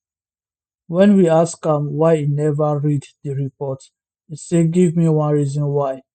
wen we ask am why e neva read di reports e say give me one reason why